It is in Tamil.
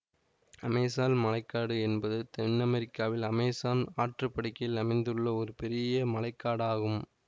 அமேசான் மழை காடு என்பது தென் அமெரிக்காவின் அமேசான் ஆற்று படுகையில் அமைந்துள்ள ஒரு பெரிய மழை காடு ஆகும்